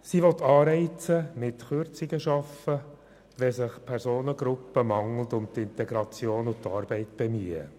Die Regierung will mit Kürzungen Anreize schaffen, wenn sich Personengruppen nicht genügend um Integration und Arbeit bemühen.